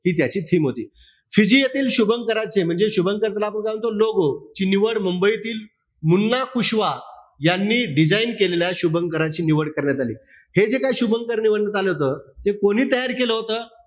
ती त्याची theme होती. फिजी येथील शुभकराचे म्हणजे शुभंकर त्याला आपण काय म्हणतो logo ची निवड मुंबई येथील मुन्ना कुशवा, यांनी design केलेल्या, शुभंकराची निवड करण्यात आली. हे जे काई शुभंकर निवडण्यात आलं होत. हे कोणी तयार केलं होत?